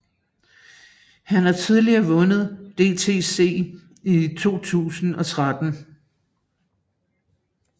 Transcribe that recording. Han har tidligere vundet DTC i 2013